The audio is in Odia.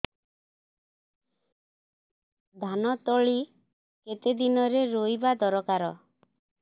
ଧାନ ତଳି କେତେ ଦିନରେ ରୋଈବା ଦରକାର